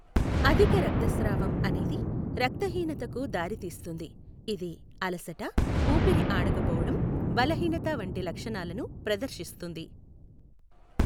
అధిక రక్తస్రావం అనేది రక్తహీనతకు దారితీస్తుంది, ఇది అలసట, ఊపిరి ఆడకపోవడం, బలహీనత వంటి లక్షణాలను ప్రదర్శిస్తుంది.